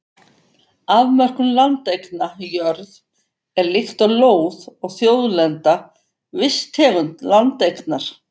Afmörkun landeigna Jörð er líkt og lóð og þjóðlenda, viss tegund landeignar.